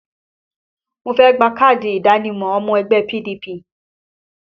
Mo fẹ́ gba káàdì ìdánimọ̀ ọmọ ẹgbẹ́ PDP